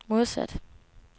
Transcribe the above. modsat